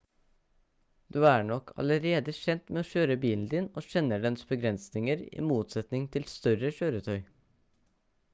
du er nok allerede kjent med å kjøre bilen din og kjenner dens begrensninger i motsetning til større kjøretøy